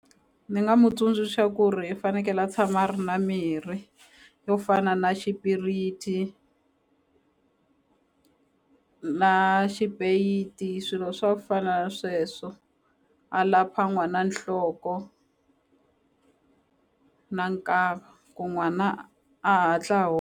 Ni nga n'wi tsundzuxa ku ri i fanekele a tshama a ri na mirhi yo fana na xipiriti na swilo swa ku fana na sweswo a lapha n'wana nhloko na nkava ku n'wana a hatla .